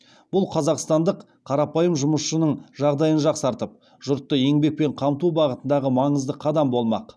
бұл қазақстандық қарапайым жұмысшының жағдайын жақсартып жұртты еңбекпен қамту бағытындағы маңызды қадам болмақ